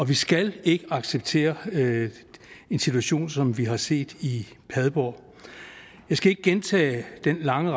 vi skal ikke acceptere en situation som den vi har set i padborg jeg skal ikke gentage den lange